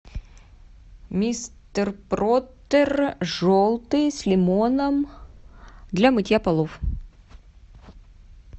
мистер пропер желтый с лимоном для мытья полов